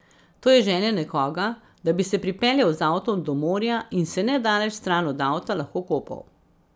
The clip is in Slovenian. To je želja nekoga, da bi se pripeljal z avtom do morja in se nedaleč stran od avta lahko kopal.